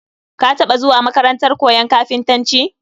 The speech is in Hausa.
Ka taba zuwa makarantar koyon kafintanci?